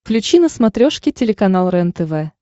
включи на смотрешке телеканал рентв